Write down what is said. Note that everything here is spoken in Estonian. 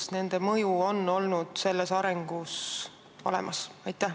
Kas nende mõju on selles arengus olnud olemas?